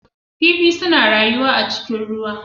Kifi suna rayuwa a cikin ruwa.